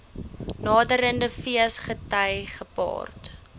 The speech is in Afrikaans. naderende feesgety gepaard